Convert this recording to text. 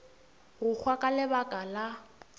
go hwa ka lebaka la